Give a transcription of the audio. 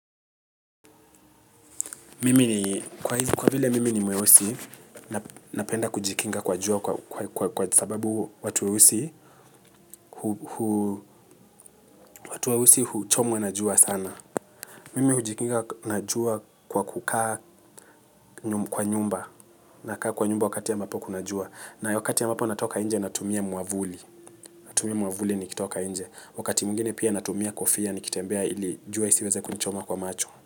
Mimi ni kwa vile mimi ni mweusi napenda kujikinga kwa jua kwa sababu watu weusi huchomwa na jua sana. Mimi hujikinga na jua kwa kukaa kwa nyumba nakaa kwa nyumba wakati ya mbapo kuna jua. Na wakati ya mbapo natoka nje natumia mwamvuli. Natumia mwamvuli nikitoka nje wakati mwingine pia natumia kofia nikitembea ili jua isiweze kunichoma kwa macho.